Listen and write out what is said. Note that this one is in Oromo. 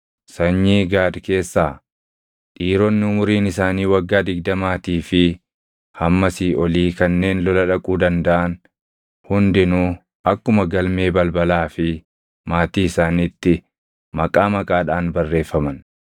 Sanyii Gaad keessaa: Dhiironni umuriin isaanii waggaa digdamaatii fi hammasii olii kanneen lola dhaquu dandaʼan hundinuu akkuma galmee balbalaa fi maatii isaaniitti maqaa maqaadhaan barreeffaman.